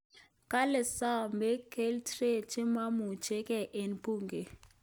Kale somei kltlret chememuchigei eng bunge